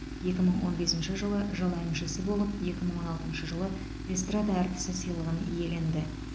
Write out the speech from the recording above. екі мың он бесінші жылы жыл әншісі болып екі мың он алтыншы жылы эстрада әртісі сыйлығын иеленді